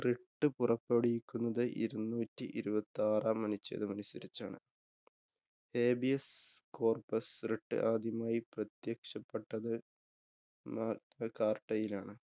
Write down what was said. Writ പുറപ്പെടുവിക്കുന്നത് ഇരുനൂറ്റി ഇരുപത്താറാം അനുച്ഛേദമനുസരിച്ചാണ്. Habeas~ Corpuswrit ആദ്യമായി പ്രത്യക്ഷപെട്ടത് Magna~ Carta യിലാണ്.